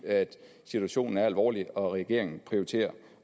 situationen er alvorlig og regeringen prioriterer